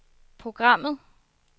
programmet